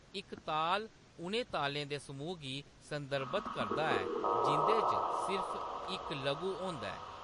इकताल उ'नें तालें दे समूह् गी संदर्भत करदा ऐ जिं'दे च सिर्फ इक लघु होंदा ऐ।